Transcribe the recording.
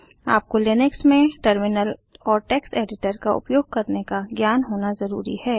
आपको लिनक्स में टर्मिनल और टेक्स्ट एडिटर का उपयोग करने का ज्ञान होना ज़रूरी है